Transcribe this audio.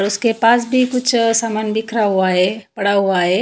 उसके पास भी कुछ समान बिखरा हुआ है पड़ा हुआ है।